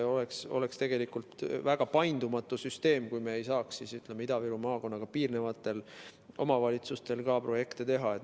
Süsteem oleks tegelikult väga paindumatu, kui me ei saaks Ida‑Viru maakonnaga piirnevatel omavalitsustel lasta ka projekte teha.